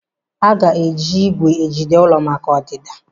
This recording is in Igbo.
Aga eji igwè ejide ụlọ maka ọdịda?